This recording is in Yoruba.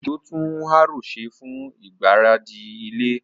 Ojo tún harrow ṣe fún ìgbáradì ilẹ̀.